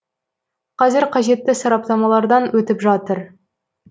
қазір қажетті сараптамалардан өтіп жатыр